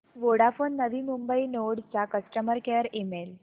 Vodafone Navi Mumbai node चा customer care email